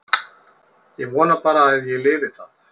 Ég vona bara að ég lifi það.